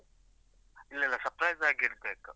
ಇಲ್ಲಲ್ಲ surprise ಆಗಿಡ್ಬೇಕು.